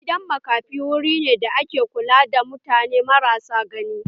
Gidan makafi wuri ne da ake kula da mutane marasa gani